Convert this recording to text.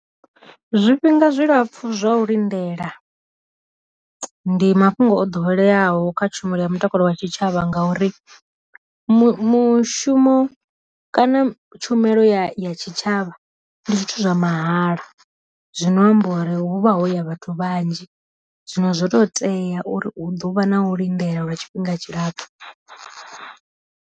Zwi fhinga zwi lapfu zwa u lindela, ndi mafhungo o ḓoweleaho kha tshumelo ya mutakalo wa tshitshavha ngauri mu mushumo kana tshumelo ya tshi tshavha ndi zwithu zwa mahala zwino amba uri huvha ho ya vhathu vhanzhi zwino zwo to tea uri hu ḓovha na u lindela lwa tshifhinga tshilapfhu.